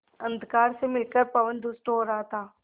अंधकार से मिलकर पवन दुष्ट हो रहा था